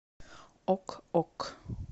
ок ок